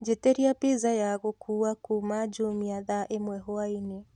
njitiria pizza ya gukũũwa kũma jumia thaa ĩmwe hwaĩnĩ